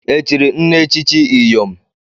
Echiri nne echichi Iyom?